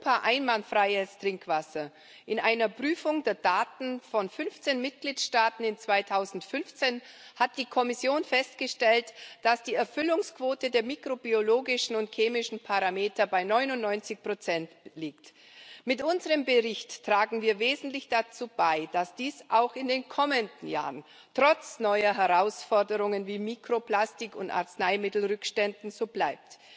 Frau Präsidentin, liebe Kollegen! Wir haben in Europa einwandfreies Trinkwasser. In einer Prüfung der Daten von 15 Mitgliedstaaten im Jahr 2015 hat die Kommission festgestellt, dass die Erfüllungsquote der mikrobiologischen und chemischen Parameter bei 99 liegt. Mit unserem Bericht tragen wir wesentlich dazu bei, dass dies auch in den kommenden Jahren trotz neuer Herausforderungen wie Mikroplastik und Arzneimittelrückständen so bleibt.